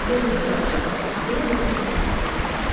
Gör necə yaxşı qalıb, elə bil ki, dünən tikilib.